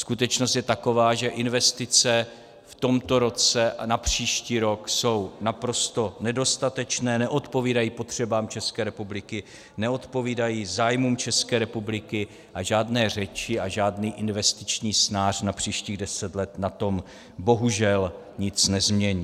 Skutečnost je taková, že investice v tomto roce a na příští rok jsou naprosto nedostatečné, neodpovídají potřebám České republiky, neodpovídají zájmům České republiky, a žádné řeči a žádný investiční snář na příštích deset let na tom bohužel nic nezmění.